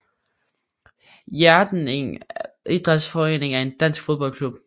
Hjerting Idrætsforening er en dansk fodboldklub